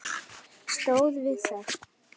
Stóð við það.